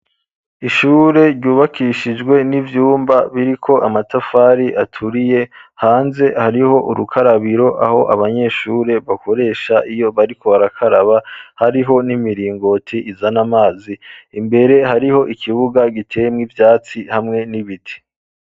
Ishure ryubakishijwe n'ivyumba biri ko amatafari aturiye hanze hariho urukarabiro aho abanyeshure bakoresha iyo bariko barakaraba hariho n'imiringoti izana amazi imbere hariho ikibuga giteyemwo ivyatsi hamwe n'ibiti.